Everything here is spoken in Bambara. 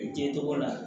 I kɛ tɔgɔ la